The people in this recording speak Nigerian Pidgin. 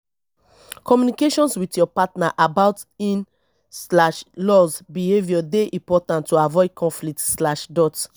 communications with your partner about in slash laws behavior dey important to avoid conflict slash dot